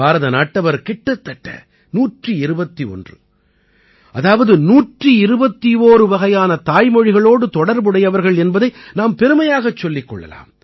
பாரத நாட்டவர் கிட்டத்தட்ட 121 அதாவது 121 வகையான தாய்மொழிகளோடு தொடர்புடையவர்கள் என்பதை நாம் பெருமையாகச் சொல்லிக் கொள்ளலாம்